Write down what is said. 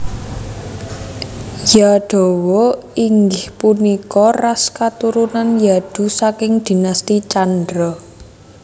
Yadawa inggih punika ras katurunan Yadu saking Dinasti Candra